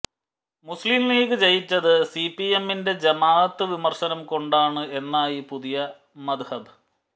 മുസ്ലിം ലീഗ് ജയിച്ചത് C P എമ്മിന്റെ ജമാഅത്ത് വിമര്ശനം കൊണ്ടാണ് എന്നായി പുതിയ മദ്ഹബ്